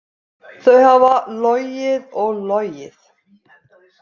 Þau hafa logið og logið.